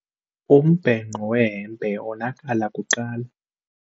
Umbhenqo wehempe wonakala kuqala.